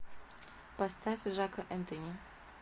поставь жака энтони